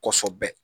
Kosobɛ